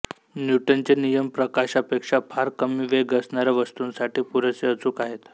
न्यूटनचे नियम प्रकाशापेक्षा फार कमी वेग असणाऱ्या वस्तूंसाठी पुरेसे अचूक आहेत